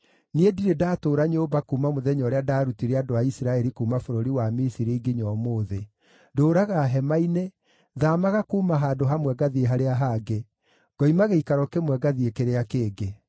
Niĩ ndirĩ ndatũũra nyũmba kuuma mũthenya ũrĩa ndaarutire andũ a Isiraeli kuuma bũrũri wa Misiri nginya ũmũthĩ. Ndũũraga hema-inĩ, thaamaga kuuma handũ hamwe ngathiĩ harĩa hangĩ, ngoima gĩikaro kĩmwe ngathiĩ kĩrĩa kĩngĩ.